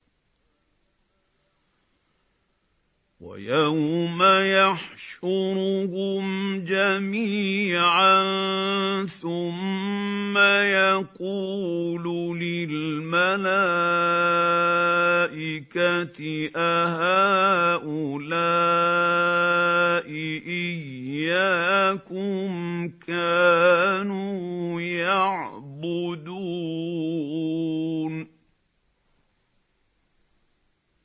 وَيَوْمَ يَحْشُرُهُمْ جَمِيعًا ثُمَّ يَقُولُ لِلْمَلَائِكَةِ أَهَٰؤُلَاءِ إِيَّاكُمْ كَانُوا يَعْبُدُونَ